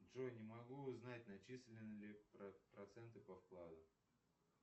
джой не могу узнать начислены ли проценты по вкладу